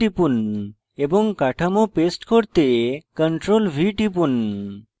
এবং কাঠামো paste করতে ctrl + v টিপুন